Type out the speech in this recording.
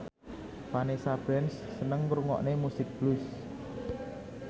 Vanessa Branch seneng ngrungokne musik blues